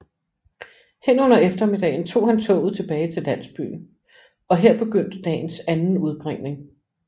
Hen under eftermiddagen tog han toget tilbage til landsbyen og her begyndte dagens anden udbringning